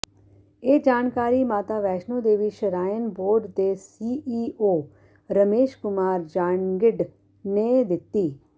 ਇਹ ਜਾਣਕਾਰੀ Mata Vaishno Devi shrine board ਦੇ ਸੀਈਓ ਰਮੇਸ਼ ਕੁਮਾਰ ਜਾਂਗਿਡ ਨੇ ਦਿੱਤੀ